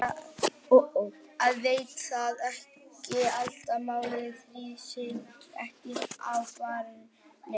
Ég veit það ekki, ætli maður drífi sig ekki á barinn.